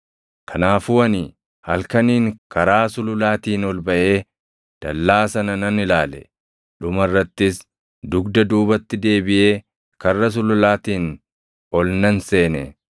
kanaafuu ani halkaniin karaa sululaatiin ol baʼee dallaa sana nan ilaale. Dhuma irrattis dugda duubatti deebiʼee Karra Sululaatiin ol nan seene.